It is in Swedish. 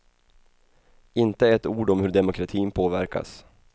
Inte ett ord om hur demokratin påverkas.